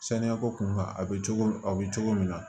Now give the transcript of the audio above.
Saniya ko kunkan a bɛ cogo min a bɛ cogo min na